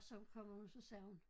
Så kommer hun så sagde hun